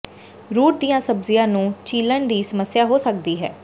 route ਦੀਆਂ ਸਬਜ਼ੀਆਂ ਨੂੰ ਚੀਲ੍ਹਣ ਦੀ ਸਮੱਸਿਆ ਹੋ ਸਕਦੀ ਹੈ